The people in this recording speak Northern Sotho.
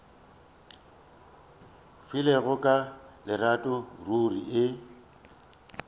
filego ka lerato ruri e